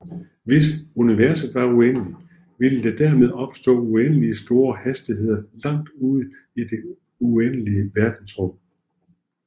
Hvis Universet var uendeligt ville der dermed opstå uendeligt store hastigheder langt ude i det uendelige verdensrum